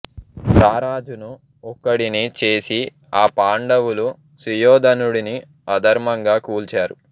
రారాజును ఒక్కడిని చేసి ఆ పాండవులు సుయోధనుడిని అధర్మంగా కూల్చారు